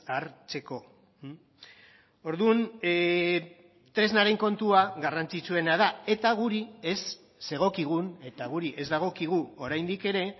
hartzeko orduan tresnaren kontua garrantzitsuena da eta guri ez zegokigun eta guri ez dagokigu oraindik ere